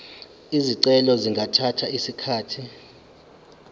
izicelo zingathatha isikhathi